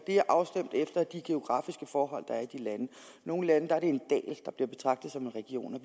er afstemt efter de geografiske forhold der er i de lande i nogle lande er det en dal der bliver betragtet som en region og